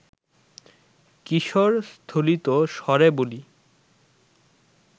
কিশোর স্থলিতস্বরে বলি